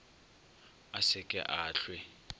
a se ke a hlwe